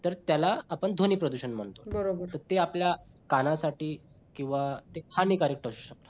तर त्याला आपण ध्वनी प्रदूषण म्हणतो ते आपल्या कानासाठी किंवा ते हानिकारक असु शकते.